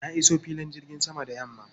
Na iso filin jirgin sama da yamma.